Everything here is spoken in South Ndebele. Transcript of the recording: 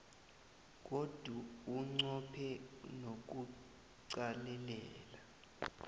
godu unqophe nokuqalelela